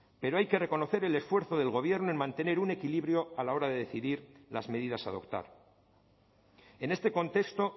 pero hay que reconocer el esfuerzo del gobierno en mantener un equilibrio a la hora de decidir las medidas a adoptar en este contexto